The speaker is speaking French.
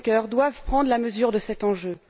Juncker doivent prendre la mesure de cet enjeu.